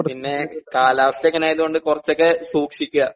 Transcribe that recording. പിന്നെ കാലാവസ്ഥ ഇങ്ങനെ ആയതോണ്ട് കൊറച്ചൊക്കെ സൂക്ഷിക്കാ.